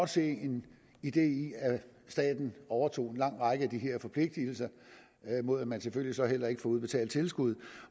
se en idé i at staten overtog en lang række af de her forpligtelser mod at man selvfølgelig så heller ikke får udbetalt tilskud